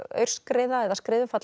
aurskriða eða